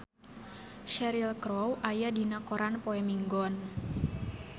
Cheryl Crow aya dina koran poe Minggon